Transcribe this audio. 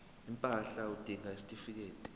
impahla udinga isitifikedi